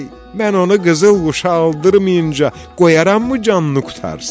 Mən onu qızıl quşa oldurmayınca qoyaramı canını qurtarsın?